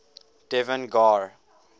devan gar